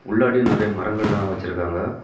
உள்ளாடியும் நெறைய மரங்கள் எல்லாம் வச்சியிருக்காக.